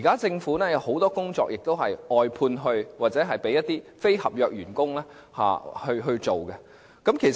政府現在把很多工作外判，或由非合約員工處理。